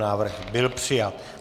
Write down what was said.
Návrh byl přijat.